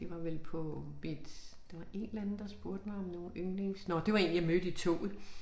Det var vel på mit der var en eller anden der spurgte mig om nogle yndlings nåh det var én jeg mødte i toget